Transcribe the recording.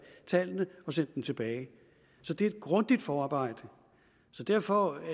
tallene og sendt dem tilbage så det er et grundigt forarbejde derfor